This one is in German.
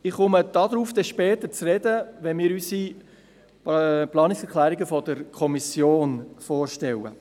Ich komme später darauf zu sprechen, wenn wir unsere Planungserklärungen der Kommission vorstellen.